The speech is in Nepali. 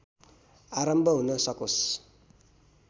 आरम्भ हुन सकोस्